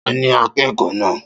Ta ni akẹ́kọ̀ọ́ náà